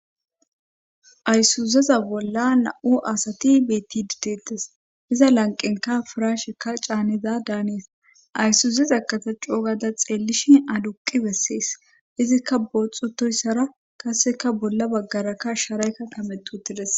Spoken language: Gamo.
aysuzeza bolla na7u asati beetti ditetas iza lanqenka furashekka caaniza daanees ayssuzeza kata coogada xeellishi aduqi bessees izikka booxutoyssara kaseka bolla baggarakka sharaykka tametutides